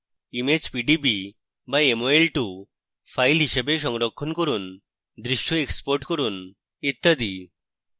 image pdb বা mol2 files হিসাবে সংরক্ষণ করুন দৃশ্য export করুন ইত্যাদি